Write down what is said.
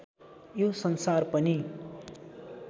यो संसार पनि